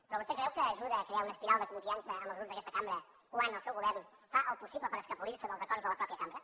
però vostè creu que ajuda a crear una espiral de confiança en els grups d’aquesta cambra quan el seu govern fa el possible per escapolir se dels acords de la mateixa cambra